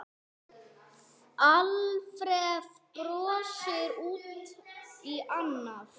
Alfreð brosir út í annað.